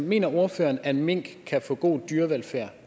mener ordføreren at mink kan få god dyrevelfærd